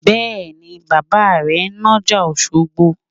Bẹ́ẹ̀ni, bàbà rẹ ń nájà Òṣogbo